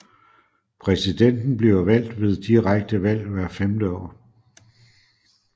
Præsidenten bliver valgt ved direkte valg hvert femte år